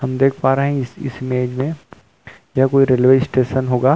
हम देख पा रहे हैं इस इमेज में या कोई रेलवे स्टेशन हो।